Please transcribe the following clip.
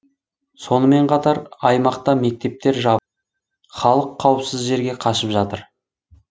сонымен қатар аймақта мектептер жабып халық қауіпсіз жерге қашып жатыр